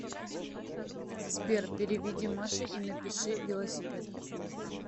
сбер переведи маше и напиши велосипед